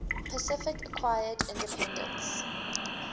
pacific acquired independence